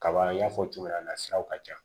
Kaba n y'a fɔ cogo min na siraw ka ca